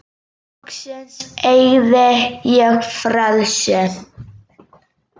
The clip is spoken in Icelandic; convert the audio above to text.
Loksins eygði ég frelsi.